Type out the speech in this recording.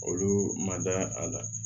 Olu ma da a la